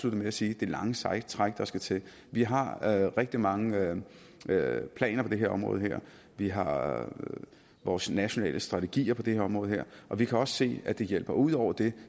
med at sige det lange seje træk der skal til vi har rigtig mange planer på det her område vi har vores nationale strategier på det her område og vi kan også se at det hjælper ud over det